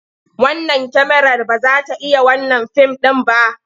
Wannan kyamarar ba za ta iya wannan fim ɗin ba.